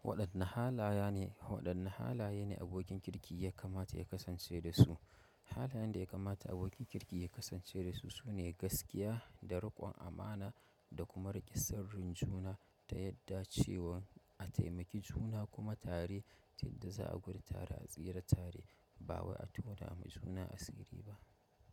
Waɗanne halaye ne, waɗanne halaye ne abokin kirki ya kamata ya kasance dasu? Halayen da ya kamata abokin kirki ya kasance dasu sune gaskiya da riƙon amana da kuma riƙe sirrin juna ta yadda cewa a taimaki juna kuma tare ce da za'a gudu tare a tsira tare ba wai a tona ma juna asiri ba.